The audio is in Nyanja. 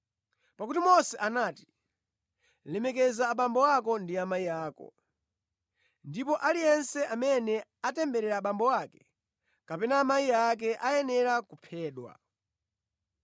Pakuti Mose anati, ‘Lemekeza abambo ako ndi amayi ako,’ ndipo, ‘aliyense amene atemberera abambo ake kapena amayi ake ayenera kuphedwa.’